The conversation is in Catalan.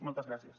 moltes gràcies